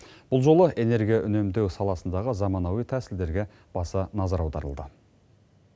бұл жолы энергия үнемдеу саласындағы заманауи тәсілдерге баса назар аударылды